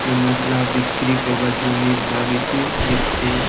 এই মাছগুলা বিক্রি করবার জন্যেই ধরা গিয়াছে নেট তে।